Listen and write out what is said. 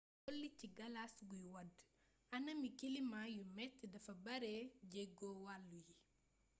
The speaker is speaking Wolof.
dolli ci galas guy wàdd anami kilimaa yu metti dafa baare jeego wàllu yi